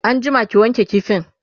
an jima ki wanke kifin!